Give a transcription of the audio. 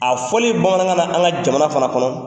A fɔli bamanankan na an ka jamana fana kɔnɔ